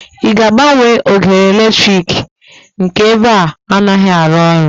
ị ga-agbanwe oghere eletrik? nke ebe a anaghị arụ ọrụ